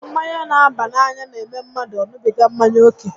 Mmanya n'aba n'anya n'eme mmadụ ọ ṅubiga mmanya ókè